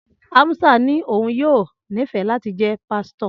Amusa ní òun yóò nífẹ̀ẹ́ láti jẹ́ pásítọ̀